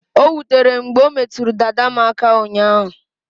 O wutere m mgbe o metụrụ dada m aka ụnyaahụ